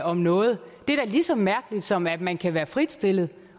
om noget det er da lige så mærkeligt som at man kan være fritstillet i